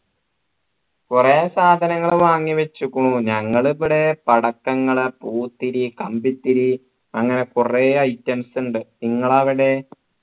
കുറെ സാധനങ്ങൾ വാങ്ങി വെച്ചുകുണു ഞങ്ങളിവിടെ പടക്കങ്ങൾ പൂത്തിരി കമ്പിത്തിരി അങ്ങനെ കുറെ items ഉണ്ട് നിങ്ങൾ അവിടെ